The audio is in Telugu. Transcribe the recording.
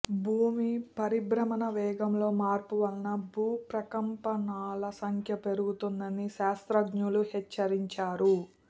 భూమి పరిభ్రమణ వేగంలో మార్పు వల్ల భూకంపాల సంఖ్య పెరుగుతోందని శాస్త్రజ్ఞులు హెచ్చరించారు